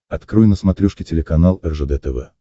открой на смотрешке телеканал ржд тв